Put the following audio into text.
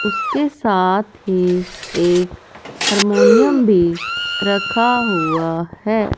उसके साथ ही एक हारमोनियम भी रखा हुआ है।